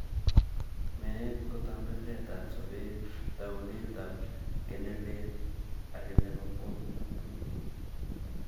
Meet ko tambiriretab sobeet, taunetab kei ne lel ake nebo kwong'ut.